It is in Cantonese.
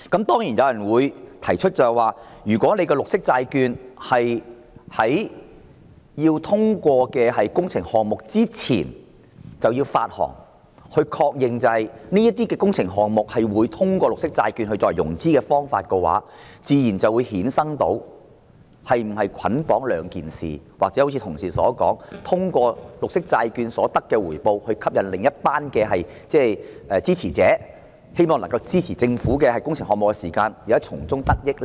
當然，有人提出，如果綠色債券須在通過工程項目撥款申請前發行，以確認這些工程項目會以綠色債券作為融資的方法，這自然會衍生是否捆綁的問題，或正如議員同事說，利用綠色債券可獲得的回報來吸引另一群支持者，希望他們在支持政府工程項目的同時，能夠從中得益呢？